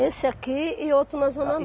Esse aqui e outro na Zona